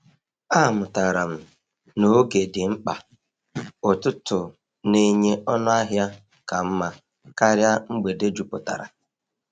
Amụtara m na oge dị mkpa; ụtụtụ na-enye ọnụ ahịa ka mma karịa mgbede jupụtara.